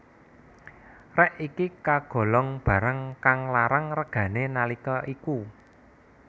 Rèk iki kagolong barang kang larang regané nalika iku